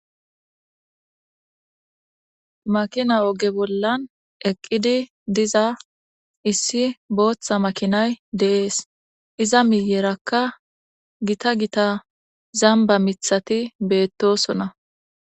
Makina oge bollan eqqidi diza issi booththa makinay deees iza miyerakka gita gita zamba mithati beettosona.